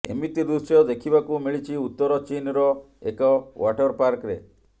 ଏମିତି ଦୃଶ୍ୟ ଦେଖିବାକୁ ମିଳିଛି ଉତ୍ତର ଚୀନର ଏକ ୱାଟର୍ ପାର୍କରେ